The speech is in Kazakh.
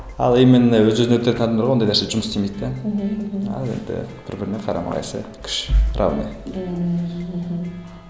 ал именно өзі өзін өлтіретін адамдарға ондай нәрсе жұмыс істемейді де мхм ал енді бір біріне қарамақайшы күш равный ммм мхм